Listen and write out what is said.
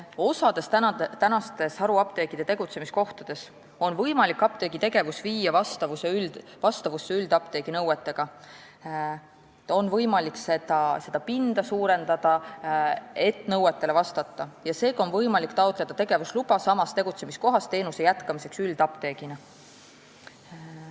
Mõnes haruapteegi praeguses tegutsemiskohas on võimalik viia apteegi tegevus vastavusse üldapteegi nõuetega, näiteks pinda suurendada, seega on võimalik taotleda tegevusluba samas kohas teenusepakkumise jätkamiseks üldapteegina.